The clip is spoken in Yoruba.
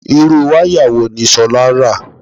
Irú wáyà wo ni Ṣolá rà?